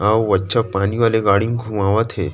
अउ अच्छा पानी वाले गाड़ी म घुमावत हे।